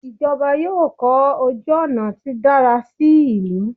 ìjọba yóò kọ ojú ònà tí dára sí ìlú